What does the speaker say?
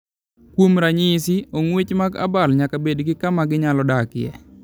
Kuom ranyisi, ong'wech mag abal nyaka bed gi kama ginyalo dakie.